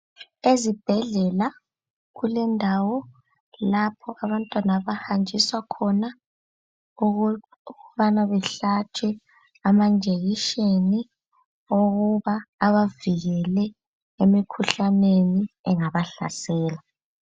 Ezibhedlela kulendawo lapho abantwana abahanjiswa khona ukubana behlatshwe amajekiseni owokuba abavikele emkhuhlaneni engabahlasela.